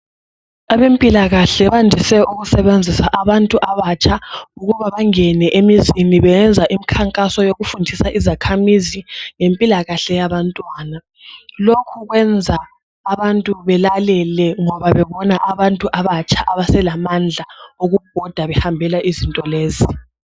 Abempilakahle bandise ukusebenzisa abantu abatsha ukuba bangene emizini beyenza imikhankaso yokufundisa izakhamizi ngempilakahle yabantwana lokho kuyenza abantu belalele ngoba bebona abantu abatsha abase lamandla wokubhoda behambela izinto lezi